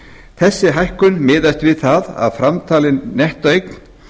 þessi hækkun miðast við það að framtalin nettóeign